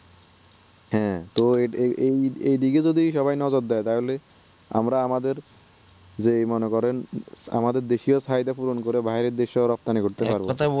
হ্যাঁ তো এইদিকে যদি সবাই যদি নজর দেয় তাহলে আমরা আমাদের যে মনে করেন আমাদের দেশ এ ফায়দা পূরণ করা বাহিরের দেশ এ রপ্তানি করতে পারবোনা